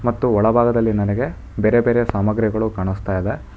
ಮತ್ತು ಒಳಭಾಗದಲ್ಲಿ ನನಗೆ ಬೇರೆ ಬೇರೆ ಸಾಮಾಗ್ರಿಗಳು ಕಾಣ್ಸ್ತಯಿದೆ.